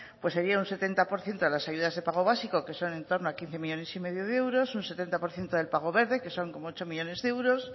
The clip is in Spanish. pues sería un setenta por ciento de las ayudas de pago básico que son en torno a quince millónes y medio de euros un setenta por ciento del pago verde que son como ocho millónes de euros